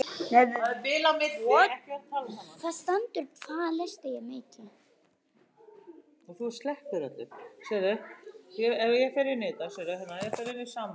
Hvað á það að þýða?